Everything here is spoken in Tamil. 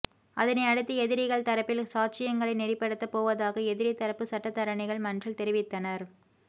அதனை அடுத்து எதிரிகள் தரப்பில் சாட்சியங்களை நெறிப்படுத்த போவதாக எதிரி தரப்பு சட்டத்தரணிகள் மன்றில் தெரிவித்தனர்